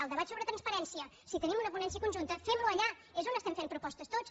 el debat sobre transparència si tenim una ponència conjunta fem lo allà és on estem fent propostes tots